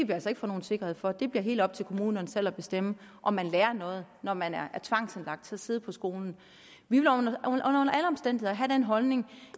altså ikke få nogen sikkerhed for det bliver helt op til kommunerne selv at bestemme om man lærer noget når man er tvangsindlagt til at sidde på skolen vi vil under alle omstændigheder have den holdning